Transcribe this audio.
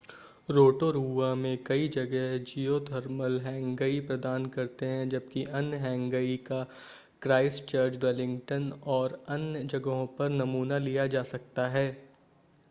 Rotorua में कई जगह जिओथर्मल हैंगई प्रदान करते हैं जबकि अन्य हैंगई का क्राइस्टचर्च वेलिंगटन और अन्य जगहों पर नमूना लिया जा सकता है